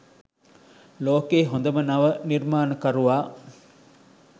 ලෝකයේ හොඳම නව නිර්මාණකරුවා